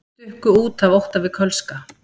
Stukku út af ótta við kölska